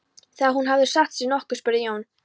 Þegar hún hafði satt sig nokkuð spurði Jón